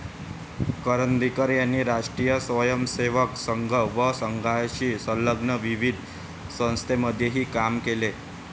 करंदीकर यांनी राष्ट्रीय स्वयंसेवक संघ व संघाशी संलग्न विविध संस्थांमध्येही काम केले.